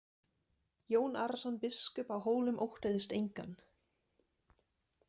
Jón Arason biskup á Hólum óttaðist engan.